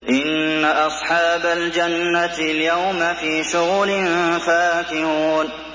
إِنَّ أَصْحَابَ الْجَنَّةِ الْيَوْمَ فِي شُغُلٍ فَاكِهُونَ